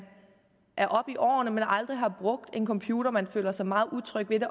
er oppe i årene og man aldrig har brugt en computer at man føler sig meget utryg ved det